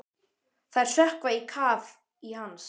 Þær sökkva á kaf í hans.